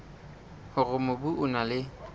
hore mobu o na le